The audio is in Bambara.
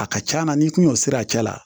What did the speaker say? A ka c'a na n'i kun y'o siri a cɛ la